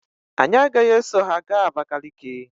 Anyị agaghị eso ha gaa Abakaliki.